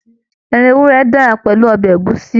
Ẹran ewúrẹ́ dára pẹ̀lú ọbẹ̀ ẹ̀gúsí.